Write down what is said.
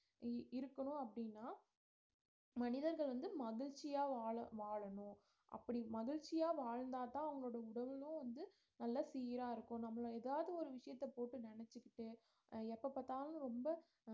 இ~ இருக்கணும் அப்படின்னா மனிதர்கள் வந்து மகிழ்ச்சியா வாழ~ வாழணும் அப்படி மகிழ்ச்சியா வாழ்ந்தாதான் அவங்களோட உடலும் வந்து நல்லா சீரா இருக்கும் நம்மள ஏதாவது ஒரு விஷியத்த போட்டு நினைச்சுகிட்டு அஹ் எப்ப பாத்தாலும் ரொம்ப